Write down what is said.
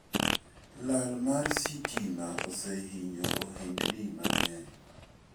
Lal mar sitima osehinyo ohendni mang'eny.